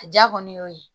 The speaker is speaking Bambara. A ja kɔni y'o ye